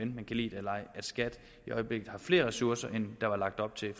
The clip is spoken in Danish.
man kan lide det eller ej at skat i øjeblikket har flere ressourcer end der var lagt op til